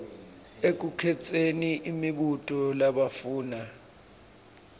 ekukhetseni imibuto labafuna